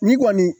Ni kɔni